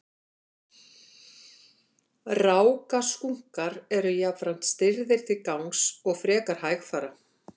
rákaskunkar eru jafnframt stirðir til gangs og frekar hægfara